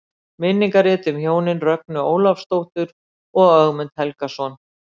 Minningarrit um hjónin Rögnu Ólafsdóttur og Ögmund Helgason.